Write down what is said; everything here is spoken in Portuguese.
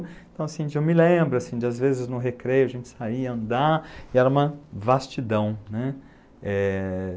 Então, assim, eu me lembro, assim, de às vezes no recreio a gente sair, andar, e era uma vastidão, né? É...